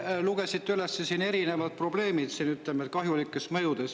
Te lugesite üles siin erinevad probleemid seoses kahjulike mõjudega.